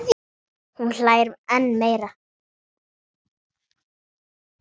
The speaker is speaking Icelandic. Hún hlær enn meira.